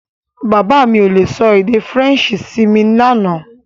Bàbá mi ò le sọ èdè Faransé sí mi lánàá